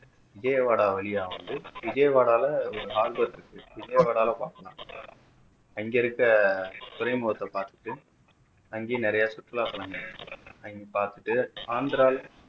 விஜயவாடா வழியா வந்து விஜயவாடாவுல விஜயவாடால பாக்கலாம் அங்க இருக்கிற துறைமுகத்தை பாத்துட்டு அங்கேயே நிறைய சுற்றுலாத்தளங்கள் இருக்கு அங்கயும் பாத்துட்டு ஆந்திராவுல